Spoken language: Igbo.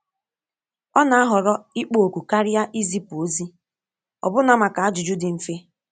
Ọ na-ahọrọ ịkpọ oku karịa izipu ozi, ọbụna maka ajụjụ dị mfe.